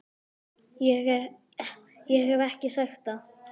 Ég hef ekki sagt það!